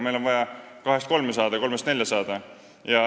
Meil on vaja kahest kolme saada ja kolmest nelja saada.